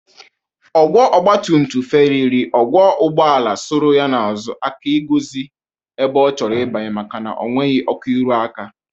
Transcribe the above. Ọgwọ ọgbatumtum fereri ọgwọ ụgbọala soro ya n'azu aka igozi ebe ọ chọrọ ibanye makana o nweghi ọkụ ịrụ aka.